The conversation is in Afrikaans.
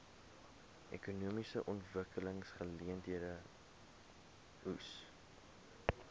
ekonomiese ontwikkelingseenhede eoes